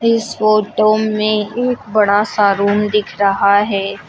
इस फोटो में एक बड़ा सा रूम दिख रहा है।